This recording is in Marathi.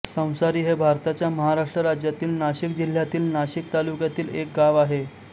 संसारी हे भारताच्या महाराष्ट्र राज्यातील नाशिक जिल्ह्यातील नाशिक तालुक्यातील एक गाव आहे